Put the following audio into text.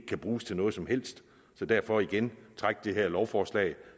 kan bruges til noget som helst så derfor igen træk det her lovforslag